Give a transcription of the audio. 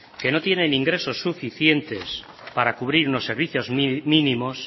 que no tienen ingresos suficientes para cubrir lo servicios mínimos